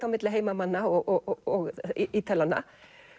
á milli heimamanna og